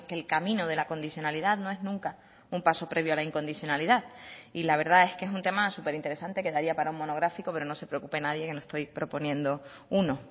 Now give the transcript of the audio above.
el camino de la condicionalidad no es nunca un paso previo a la incondicionalidad y la verdad es que es un tema súper interesante que daría para un monográfico pero no se preocupe nadie que no estoy proponiendo uno